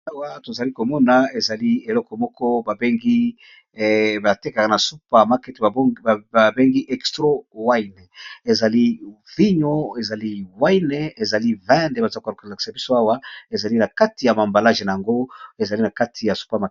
Awa tozalikomona eloko moko babengi ba tekaka yango na super marché ba bengi extro wine eza vino ezali nakati ya emballage nayango.